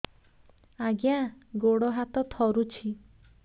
ଆଜ୍ଞା ଗୋଡ଼ ହାତ ଥରୁଛି